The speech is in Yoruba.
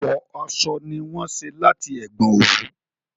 Ọ̀pọ̀ aṣọ ni wọ́n ṣé láti ẹ̀gbọn òwú